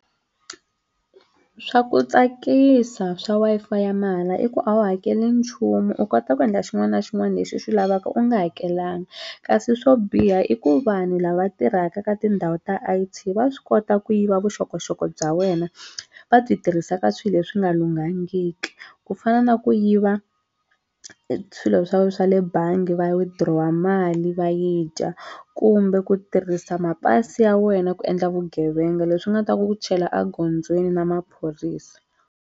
Swa ku tsakisa swa Wi-Fi ya mahala i ku a wu hakeli nchumu u kota ku endla xin'wana na xin'wana lexi u xi lavaka u nga hakelanga kasi swo biha i ku vanhu lava tirhaka ka tindhawu ta I_T va swi kota ku yiva vuxokoxoko bya wena va byi tirhisa ka swilo leswi nga lunghangiki ku fana na ku yiva swilo swa wehe swa le bangi va withdraw-a mali va yi dya kumbe ku tirhisa mapasi ya wena ku endla vugevenga leswi nga ta ku chala egondzweni na maphorisa.